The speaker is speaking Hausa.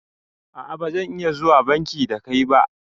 A'a bazan iya zuwa banki da kai ba